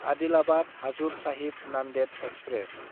Adilabad Hazur Sahib Nanded express